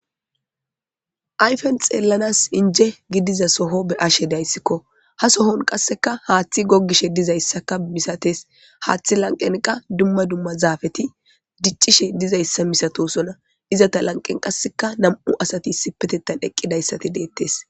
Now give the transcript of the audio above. Ayfen xeellanas inje gidiza soho be ashe dayssikko ha sohon qasseka haaththi goggishe dizayssaka misates haaththi lanqenqa dumma dumma zaafeti diccishe dizayssa misatosona iza ta lanqen qasseka na'mu asati sipetettan eqqidayssati deettes